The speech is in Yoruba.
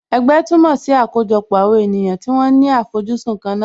Ẹgbẹ́ túmọ̀ sí àkójọpọ̀ àwọn ènìyàn tí wọ́n ní àfojúsùn kan náà